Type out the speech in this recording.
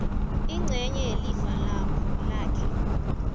ingcenye yelifa lakhe